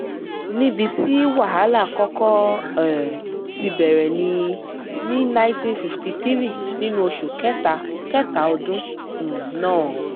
níbi tí wàhálà kọ́kọ́ um ti bẹ̀rẹ̀ ní ní ninety fifty three nínú oṣù kẹta kẹta ọdún um náà